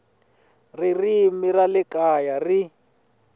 ririmi ra le kaya ri